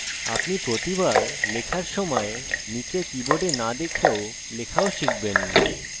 আপনি প্রতিবার লেখার সময় নীচে keyboard না দেখে লেখাও শিখবেন